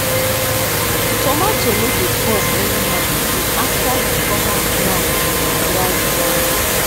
tomato no dey burst anyhow again after we cover ground with dry grass